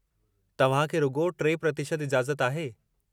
तव्हां खे रुॻो 3% इजाज़त आहे।